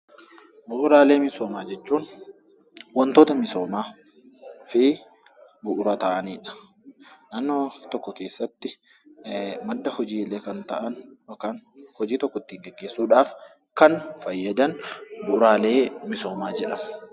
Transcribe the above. Bu'uuraalee misoomaa jechuun waantota misoomaa fi bu'uura ta'anidha. Naannoo tokko keessatti madda hojiilee kan ta'an yookaan hojii tokko ittiin gaggeessuudhaaf kan fayyadan bu'uuraalee misoomaa jedhama.